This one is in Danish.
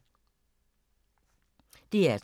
DR2